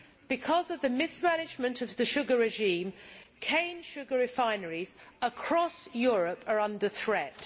Because of the mismanagement of the sugar regime, cane sugar refineries across Europe are under threat.